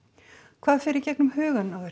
hvað fer í gegnum hugann á